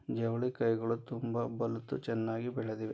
ಜವಳಿ ಕಾಯಿಗಳು ತುಂಬಾ ಬಲ್ತು ಚೆನ್ನಾಗಿ ಬೆಳೆದಿವೆ.